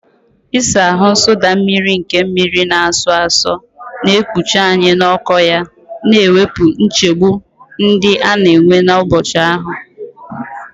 Ịsa ahụ, nsụda mmiri nke mmiri na-asọ asọ, na-ekpuchi anyị n'ọkụ ya, na-ewepụ nchegbu ndị a na-enwe n'ụbọchị ahụ.